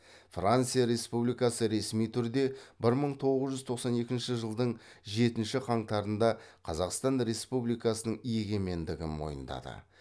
франция республикасы ресми түрде бір мың тоғыз жүз тоқсан екінші жылдың жетінші қаңтарында қазақстан республикасының егемендігін мойындады